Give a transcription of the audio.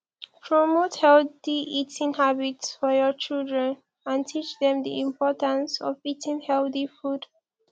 promote healthy eating habits for your children and teach dem di importance of eating healthy food